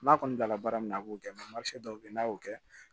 N'a kɔni dala baara min na a b'o kɛ dɔw bɛ ye n'a y'o kɛ